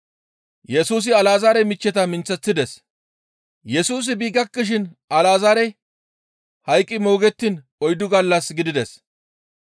Yesusi bi gakkishin Alazaarey hayqqi moogettiin oyddu gallas gidides.